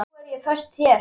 Nú er ég föst hér.